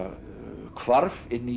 hvarf inn í